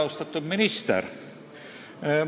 Austatud minister!